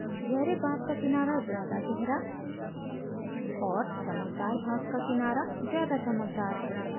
गहरे भाग का किनारा ज़्यादा गहरा और चमकदार भाग का किनारा ज़्यादा चमकदार है